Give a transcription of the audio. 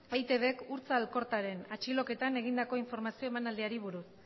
eitbk urtza alkortaren atxiloketan egindako informazio emanaldiari buruz